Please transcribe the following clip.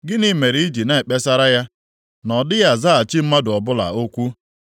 Gịnị mere i ji na-ekpesara ya na ọ dịghị azaghachi mmadụ ọbụla okwu?